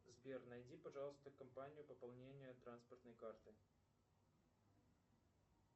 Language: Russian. сбер найди пожалуйста компанию пополнения транспортной карты